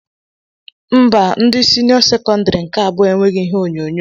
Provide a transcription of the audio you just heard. Mba ndị senio sekondari nke abụọ enweghị ihe onyonyo.